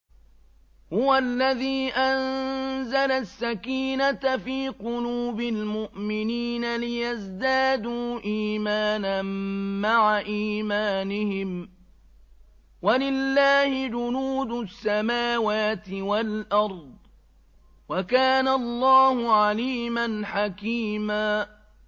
هُوَ الَّذِي أَنزَلَ السَّكِينَةَ فِي قُلُوبِ الْمُؤْمِنِينَ لِيَزْدَادُوا إِيمَانًا مَّعَ إِيمَانِهِمْ ۗ وَلِلَّهِ جُنُودُ السَّمَاوَاتِ وَالْأَرْضِ ۚ وَكَانَ اللَّهُ عَلِيمًا حَكِيمًا